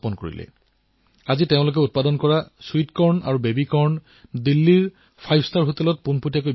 তেওঁলোকৰ উৎপাদন আজি দিল্লীৰ আজাদপুৰ বজাৰ বৃহৎ ৰিটেইল চেইন তথা পঞ্চ তাৰকাযুক্ত হোটেলত পোনে পোনে বিক্ৰী হয়